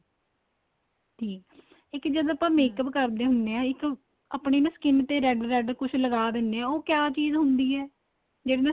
ਠੀਕ ਏ ਇੱਕ ਜਦ ਆਪਾਂ makeup ਕਰਦੇ ਹੁੰਦੇ ਹਾਂ ਇੱਕ ਆਪਣੀ ਨਾ skin ਤੇ red red ਕੁੱਝ ਲਗਾ ਦਿੰਨੇ ਆ ਉਹ ਕਿਹਾ ਚੀਜ਼ ਹੁੰਦੀ ਏ ਜਿਹਦੇ ਨਾਲ